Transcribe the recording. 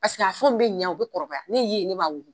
Paseke a fɛnw bɛ ɲɛ, u bɛ kɔrɔbaya ne ye ne b'a ɲini.